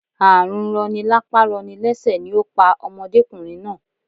Ààrùn rọni lápá rọni lẹ́sẹ̀ ni ó pa òdọ́mokùnrin náà